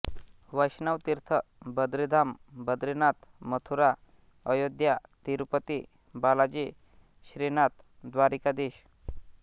वैष्णव तीर्थ बद्रीधाम बद्रीनाथ मथुरा अयोध्या तिरुपती बालाजी श्रीनाथ द्वारिकाधीश